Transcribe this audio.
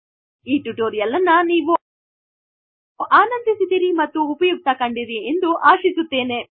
ಈ ಟುಟೋರೀಯಲ್ ಅನ್ನು ನೀವು ಆನಂದಿಸಿದಿರಿ ಹಾಗು ಉಪಯುಕ್ತ ಕಂಡಿರಿ ಎಂದು ಆಶಿಸುತ್ತೇನೆ